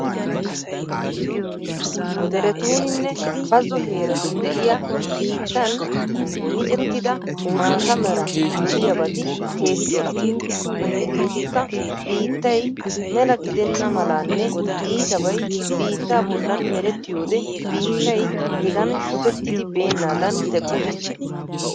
Derettuninne bazzo heeratunni de'iya bittan michettidda maata mera doliyabati keehi cora. hegetikkka biittay mela giddena malanne ittabay biitta bollan merettiyoode biittay hegan shokkettidi bennadan teqqoosona.